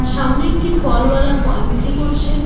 সামনে একটি ফলওয়ালা ফল বিক্রি করছে।